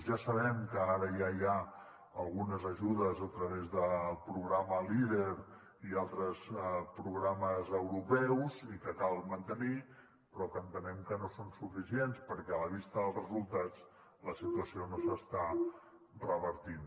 ja sabem que ara ja hi ha algunes ajudes a través del programa leader i altres programes europeus i que cal mantenir però que entenem que no són suficients perquè a la vista dels resultats la situació no s’està revertint